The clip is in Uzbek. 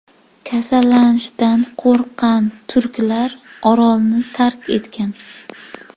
Kasallanishdan qo‘rqqan turklar orolni tark etgan.